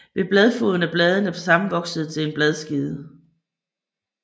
Ved bladfoden er bladene sammenvoksede til en bladskede